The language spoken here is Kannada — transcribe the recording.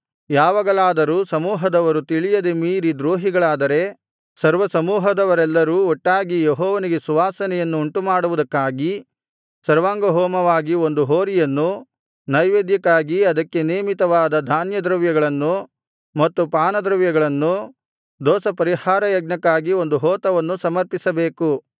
ಯಾವಾಗಲಾದರೂ ಸಮೂಹದವರು ತಿಳಿಯದೆ ಮೀರಿ ದ್ರೋಹಿಗಳಾದರೆ ಸರ್ವಸಮೂಹದವರೆಲ್ಲರು ಒಟ್ಟಾಗಿ ಯೆಹೋವನಿಗೆ ಸುವಾಸನೆಯನ್ನು ಉಂಟುಮಾಡುವುದಕ್ಕಾಗಿ ಸರ್ವಾಂಗಹೋಮವಾಗಿ ಒಂದು ಹೋರಿಯನ್ನೂ ನೈವೇದ್ಯಕ್ಕಾಗಿ ಅದಕ್ಕೆ ನೇಮಿತವಾದ ಧಾನ್ಯದ್ರವ್ಯಗಳನ್ನೂ ಮತ್ತು ಪಾನದ್ರವ್ಯಗಳನ್ನೂ ದೋಷಪರಿಹಾರ ಯಜ್ಞಕ್ಕಾಗಿ ಒಂದು ಹೋತವನ್ನು ಸಮರ್ಪಿಸಬೇಕು